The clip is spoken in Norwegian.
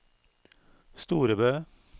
Storebø